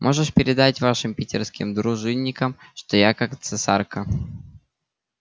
можешь передать вашим питерским дружинникам что я как цесарка